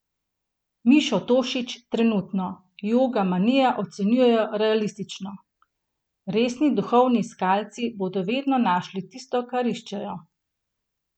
Mišo Tošić trenutno 'joga manijo' ocenjuje realistično: 'Resni duhovni iskalci bodo vedno našli tisto, kar iščejo.